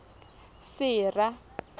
sera